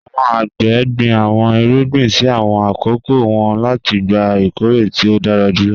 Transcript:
Àwọn àgbẹ̀ gbin àwọn ìrúgbìn sí àwọn akókò wọn láti gbà ìkọ̀rẹ̀ tí o dára júlọ